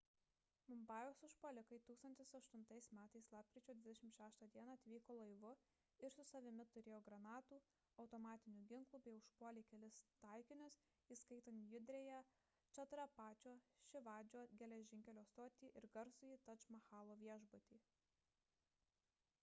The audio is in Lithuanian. mumbajaus užpuolikai 2008 m lapkričio 26 d atvyko laivu ir su savimi turėjo granatų automatinių ginklų bei užpuolė kelis taikinius įskaitant judriąją čatrapačio šivadžio geležinkelio stotį ir garsųjį tadž mahalo viešbutį